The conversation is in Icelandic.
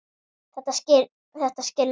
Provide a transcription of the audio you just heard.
Þetta skilur enginn.